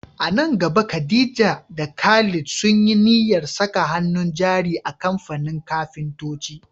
A nan gaba Khadija da Khalid sun yi niyyar saka hannun jari a kamfanin kafintoci.